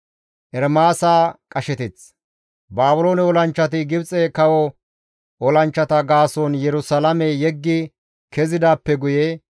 Baabiloone olanchchati Gibxe kawo olanchchata gaason Yerusalaame yeggi kezidaappe guye,